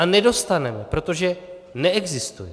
A nedostaneme, protože neexistuje.